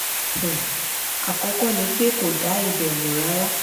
um àkọ́kọ́ ni pé kò dá ibẹ̀ mọ̀ rárá